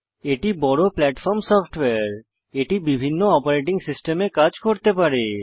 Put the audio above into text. এটি বড় platform software এটি বিভিন্ন অপারেটিং সিস্টেমে কাজ করতে পারে